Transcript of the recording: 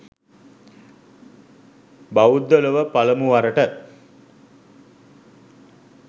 බෞද්ධ ලොව පළමු වරට